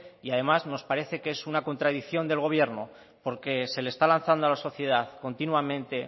y además nos parece que es una contradicción del gobierno porque se le está lanzando a la sociedad continuamente